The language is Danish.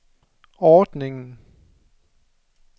ordningen